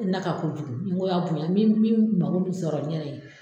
Na ka kojugu ngo y'a bonya yan min min mago min sɔrɔ ne yɛrɛ ye